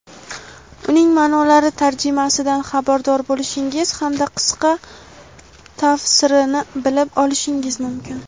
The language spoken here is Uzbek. uning ma’nolari tarjimasidan xabardor bo‘lishingiz hamda qisqa tafsirini bilib olishingiz mumkin.